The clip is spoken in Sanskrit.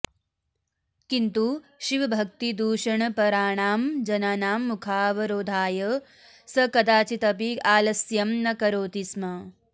किन्तु शिवभक्तिदूषणपराणां जनानां मुखावरोधाय स कदाचिदपि आलस्यं न करोति स्म